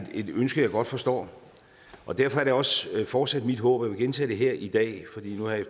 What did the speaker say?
et ønske jeg godt forstår og derfor er det også fortsat mit håb vil gentage det her i dag